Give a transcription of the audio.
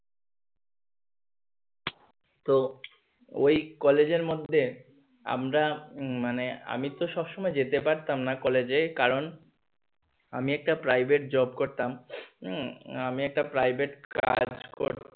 তো ওই কলেজের মধ্যে আমরা উম মানে আমি তো সব সময় যেতে পারতাম না কলেজে কারণ আমি একটা private job করতাম উম আমি একটা private